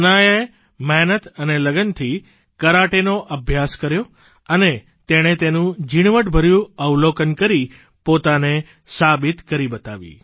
હનાયાએ મહેનત અને લગનથી કરાટેનો અભ્યાસ કર્યો અને તેનું ઝીણવટભર્યું અવલોકન કરી પોતાને સાબિત કરી બતાવી